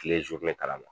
Kile kalan na